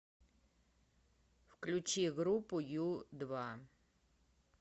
включи группу ю два